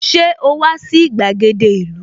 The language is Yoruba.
Ṣé o wà sí gbàgede ìlú?